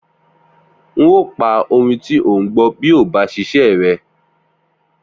N óò pa orin tí o ń gbọ́ bí o ò bá ṣiṣẹ́ rẹ!